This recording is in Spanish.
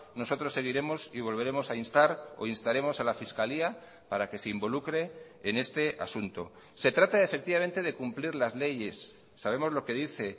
nosotros seguiremos y volveremos a instar o instaremos a la fiscalía para que se involucre en este asunto se trata efectivamente de cumplir las leyes sabemos lo que dice